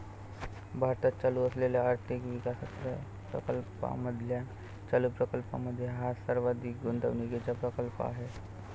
भारतात चालू असलेल्या आर्थिक विकासप्रकल्पामधल्या चालू प्रकल्पामध्ये हा सर्वाधिक गुंतवणुकीचा प्रकल्प आहे.